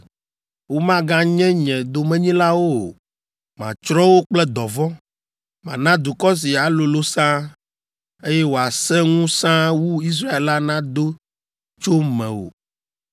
Womaganye nye domenyilawo o. Matsrɔ̃ wo kple dɔvɔ̃. Mana dukɔ si alolo sãa, eye wòasẽ ŋu sãa wu Israel la nado tso mewò!”